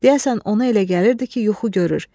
Deyəsən ona elə gəlirdi ki, yuxu görür.